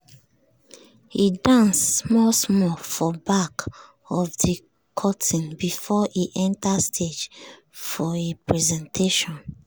e dance small small for back of de curtain before e enter stage for e presentation.